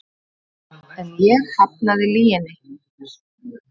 En ég hafnaði lyginni.